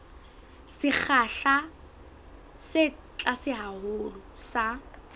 sekgahla se tlase haholo sa